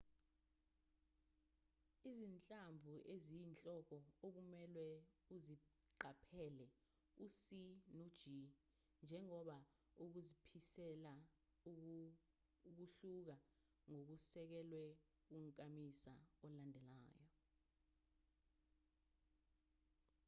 izinhlamvu eziyinhloko okumelwe uziqaphele u-c no-g njengoba ukuziphimisela kuhluka ngokusekelwe kunkamisa olandelayo